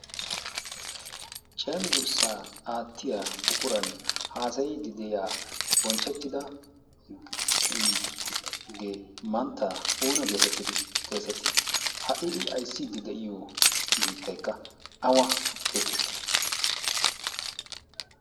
Cenggurssa aattiya buqura haassayide de'iyaage mantta oona getetti? ha i aysside de'iyo biittaykka awa geetetti?